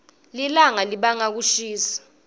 lilawga libanga kushisa